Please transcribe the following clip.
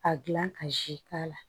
A gilan ka zi k'a la